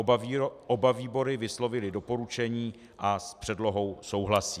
Oba výbory vyslovily doporučení a s předlohou souhlasí.